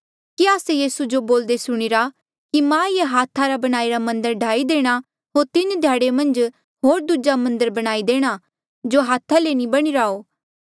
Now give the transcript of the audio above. कि आस्से यीसू जो बोल्दे सुणीरा कि मां ये हाथा रा बणाईरा मन्दर ढाई देणा होर तीन ध्याड़े मन्झ होर दूजा मन्दर बणाई देणा जो हाथा ले नी बणीरा हो